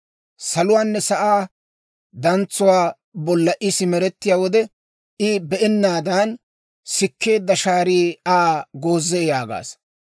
Saluwaanne sa'aa dantsuwaa bolla I simerettiyaa wode, I be'ennaadan, sikkeedda shaarii Aa goozee› yaagaasa.